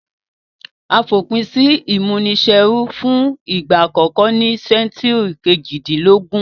A fòpin si ìmúniserú fun ìgbà àkókó ní century kejìdínlógún